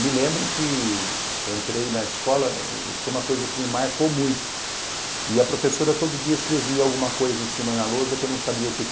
Me lembro que entrei na escola, isso é uma coisa que me marcou muito, e a professora todo dia escrevia alguma coisa em cima da lousa que eu não sabia o que é que